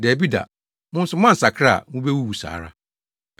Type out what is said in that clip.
Dabi da, mo nso moansakra a, mubewuwu saa ara.”